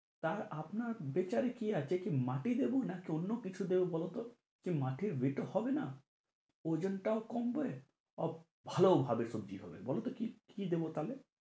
তা আপনার বিচার এ কি আছে কি মাটি দেবো না কি অন্য কিছু দেবো বলতো মাটির weight ও হবে না ওজনটা কমবে আহ ভালোও হবে সবজি হবে বলো তো কি, কি দেবো তাহলে?